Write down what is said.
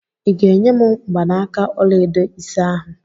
I ga-enye m mgbanaka ọla edo ise ahụ?